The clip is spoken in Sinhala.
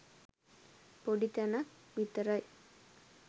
පොඩි තැනක් විතරයි.